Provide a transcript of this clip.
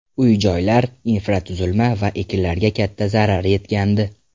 Uy-joylar, infratuzilma va ekinlarga katta zarar yetgandi .